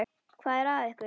Hvað er að ykkur?